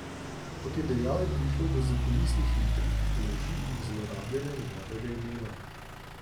Kot je dejal, je prišlo do zakulisnih intrig, laži in zlorabljanja njegovega imena.